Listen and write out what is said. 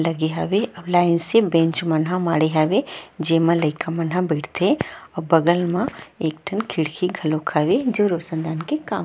लगे हवे अब लाइन से बेंच मन माड़हे हवे जेमा लइका मन ह बईठ थे अऊ बगल म एक ठा खिड़की खोलक हवे जो रोशन दान के काम--